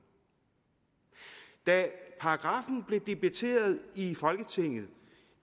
da paragraffen blev debatteret i folketinget